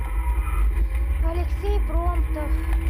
алексей промтов